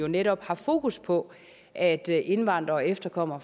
netop har fokus på at indvandrere og efterkommere